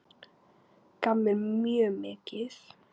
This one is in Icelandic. Gaf mér mjög mikið.